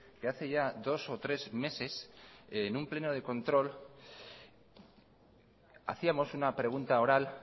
que hace ya dos o tres meses en un pleno de control hacíamos una pregunta oral